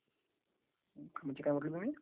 घरगुती काय म्हटलं तुम्ही...